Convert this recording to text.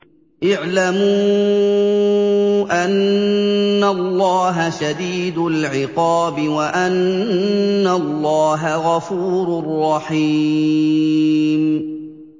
اعْلَمُوا أَنَّ اللَّهَ شَدِيدُ الْعِقَابِ وَأَنَّ اللَّهَ غَفُورٌ رَّحِيمٌ